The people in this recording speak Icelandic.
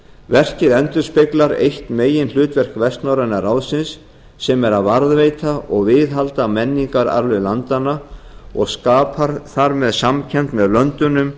verkið endurspeglar eitt meginhlutverk vestnorræna ráðsins sem er að varðveita og viðhalda menningararfleifð landanna og skapar þar með samkennd með löndunum